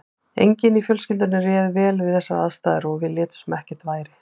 Enginn í fjölskyldunni réð vel við þessar aðstæður og við létum sem ekkert væri.